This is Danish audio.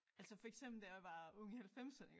Altså for eksempel da jeg var ung i halvfemserne ik